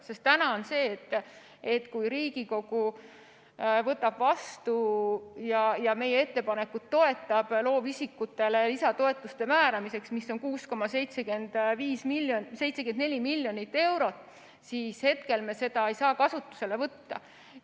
Sest praegu on sedasi, et kui Riigikogu ka toetab meie ettepanekut loovisikutele lisatoetuse määramiseks, milleks on 6,74 miljonit eurot, siis me ei saa seda kasutusele võtta.